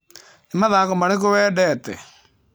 Nĩ mathako marĩkũ wendete?